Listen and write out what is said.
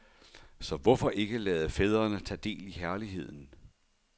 Så hvorfor ikke lade fædrene tage del i herligheden?